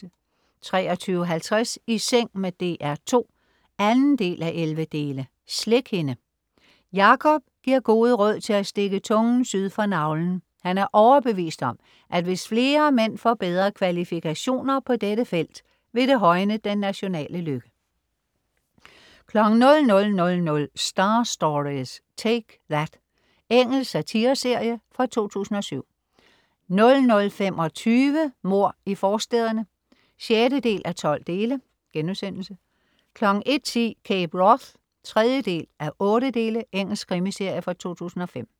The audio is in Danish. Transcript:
23.50 I seng med DR2 2:11. Slik hende. Jakob giver gode råd til at stikke tungen syd for navlen. Han er overbevist om, at hvis flere mænd får bedre kvalifikationer på dette felt, vil det højne den nationale lykke 00.00 Star Stories: Take That. Engelsk satireserie fra 2007 00.25 Mord i forstæderne 6:12* 01.10 Cape Wrath 3:8. Engelsk krimiserie fra 2005